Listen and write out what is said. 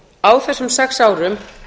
á þessum sex árum